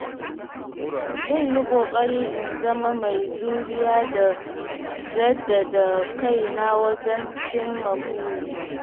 Zan yi ƙoƙari in zama mai juriya da jaddada kaina wajen cimma burina.